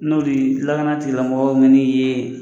N'o de lagana tigi lamɔgɔw man'i ye